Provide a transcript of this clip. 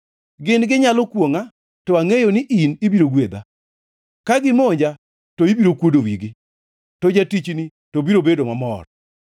Gin ginyalo kwongʼa to angʼeyo ni in ibiro gwedha; ka gimonja to ibiro kuodo wigi, to jatichni to biro bedo mamor.